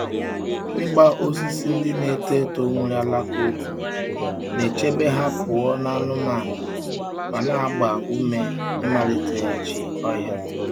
Ịgba osisi ndị na-eto eto nwere alaka ogwu na-echebe ha pụọ na anụmanụ ma na-agba ume ịmaliteghachi ọhịa.